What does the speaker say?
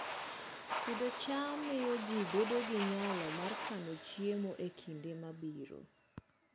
Pidho cham miyo ji bedo gi nyalo mar kano chiemo e kinde mabiro